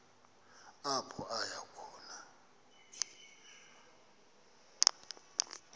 apho aya khona